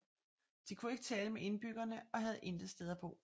De kunne ikke tale med indbyggerne og havde intet sted at bo